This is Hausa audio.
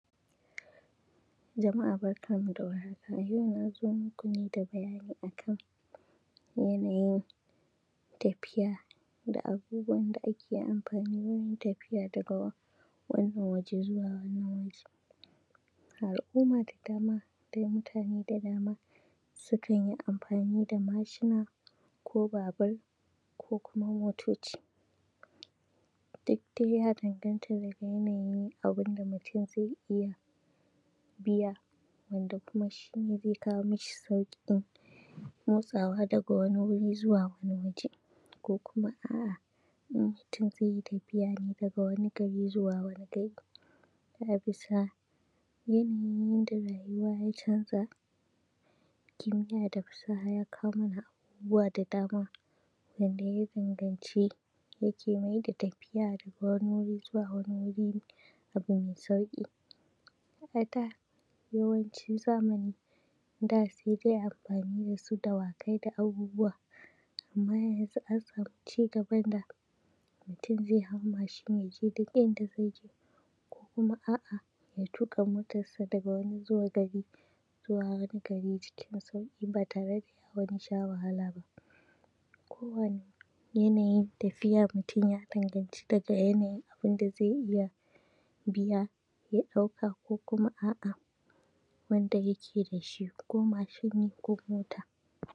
Jama’a barkanmu da warhaka. A yau na zo maku ne da bayani a kan yanayin tafiya da abubuwan da ake amfani wurin tafiya daga wannan waje zuwa wannan waje. A al’umma da dama da mutane da dama sukan yi amfaani da mashina ko babur ko kuma motoci, duk dai ya danganta da yanayin abin da mutum zai iya biya yanda kuma shi ne zai iya kawo mashi sauƙin motsawa daga wan wuri zuwa wani waje. ko kuma a’a in mutum zai yi tafiya ne daga wani gari zuwa wani gari a bisa yanayin yanda rayuwa ya canza, kimiyya da fasaha ya kawo mana abubuwa da dama wanda ya danganci, yake mai da tafiya daga wani wuri zuwa wani wuri abu mai sauƙi. A da, yawancin zamani, da sai dai amfani da su dawakai da abubuwa, amma yanzu an samu cigaban da mutum zai hau mashin ya je duk inda zai je, ko kuma a’a ya tuƙa motarsa daga wani gari zuwa wani gari cikin sauƙi baa tare da ya wani sha wahala ba. Kowane yanayin tafiya mutum ya danganci daga yanayin abin da zai iya biya ya ɗauka ko kuma a’a wanda yake da shi ko mashin ne ko mota.